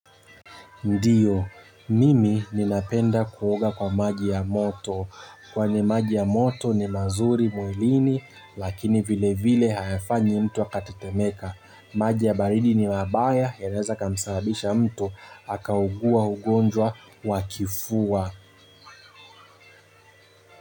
Ndiyo, mimi ninapenda kuoga kwa maji ya moto. Kwa ni maji ya moto ni mazuri mwilini, lakini vile vile hayafanyi mtu akatetemeka. Maji ya baridi ni mabaya yanaweza yakamsababisha mtu akaugua ugonjwa ya kifua.